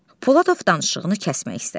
Poladov danışığını kəsmək istədi.